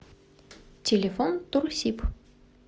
телефон турсиб